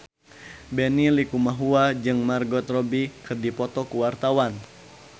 Benny Likumahua jeung Margot Robbie keur dipoto ku wartawan